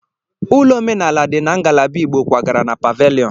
Ụlọ omenala dị na ngalaba Igbo kwagara na paveliọn.